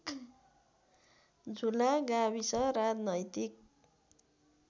झुला गाविस राजनैतिक